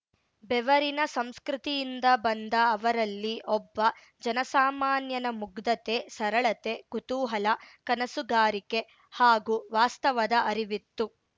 ಬೆವರಿನ ಸಂಸ್ಕೃತಿಯಿಂದ ಬಂದ ಅವರಲ್ಲಿ ಒಬ್ಬ ಜನಸಾಮಾನ್ಯನ ಮುಗ್ಧತೆ ಸರಳತೆ ಕುತೂಹಲ ಕನಸುಗಾರಿಕೆ ಹಾಗೂ ವಾಸ್ತವದ ಅರಿವಿತ್ತು